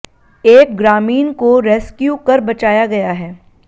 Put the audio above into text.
एक ग्रामीण को रेस्क्यू कर बचाया गया है